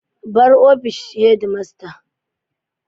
Bar ofishin headmaster.